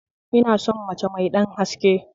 Ina son mace mai ɗan haske